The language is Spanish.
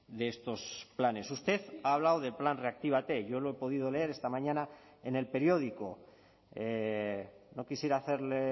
de estos planes usted ha hablado del plan reactívate yo lo he podido leer esta mañana en el periódico no quisiera hacerle